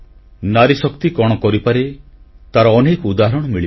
ନାରୀଶକ୍ତି କଣ କରିପାରେ ତାର ଅନେକ ଉଦାହରଣ ମିଳିବ